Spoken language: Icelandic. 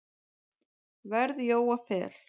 verð Jóa Fel.